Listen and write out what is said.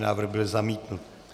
Návrh byl zamítnut.